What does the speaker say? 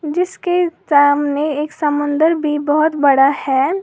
जिसके सामने एक समुंदर भी बहोत बड़ा है।